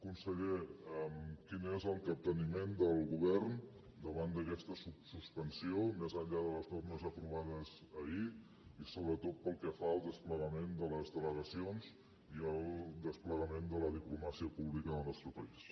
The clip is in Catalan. conseller quin és el capteniment del govern davant d’aquesta suspensió més enllà de les normes aprovades ahir i sobretot pel que fa al desplegament de les delegacions i al desplegament de la diplomàcia pública del nostre país